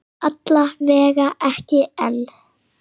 Alla vega ekki enn.